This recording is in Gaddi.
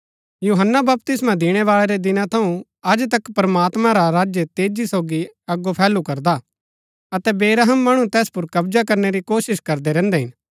यूहन्‍ना बपतिस्मा दिणैबाळै रै दिना थऊँ अज तक प्रमात्मां रा राज्य तेजी सोगी अगो फैलु करदा अतै बेरहम मणु तैस पुर कब्जा करनै री कोशिश करदै रैहन्दै हिन